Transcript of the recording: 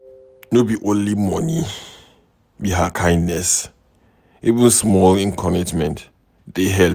No be only money be kindness, even small encouragement dey help.